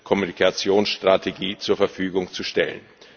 Kommunikationsstrategie zur Verfügung zu stellen.